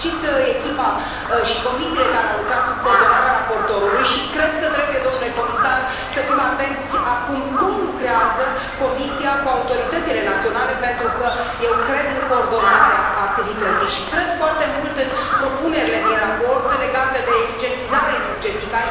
Felicit echipa și comisiile care au lucrat sub coordonarea raportorului și cred că trebuie, domnule comisar, să fim atenți acum la cum lucrează Comisia cu autoritățile naționale, pentru că eu cred în coordonarea activității și cred foarte mult în propunerile din raport legate de eficientizarea energetică.